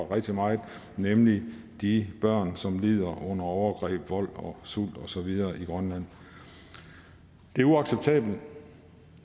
rigtig meget nemlig de børn som lider under overgreb vold og sult og så videre i grønland det er uacceptabelt